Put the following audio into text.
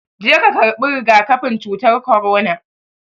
Je ka karɓi rigakafin cutar korona